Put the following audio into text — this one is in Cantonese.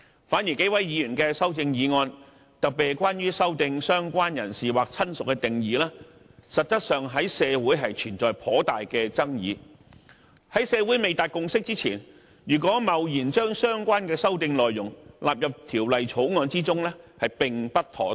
反而幾位議員的修正案，特別是關於修訂"相關人士"或"親屬"的定義，實質上在社會存在頗大的爭議，在社會未達共識前，如果貿然將相關的修訂內容納入《條例草案》中，便不妥當。